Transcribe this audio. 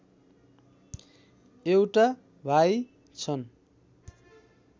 एउटा भाइ छन्